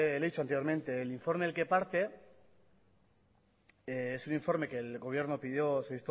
le he dicho anteriormente el informe del que parte es un informe que el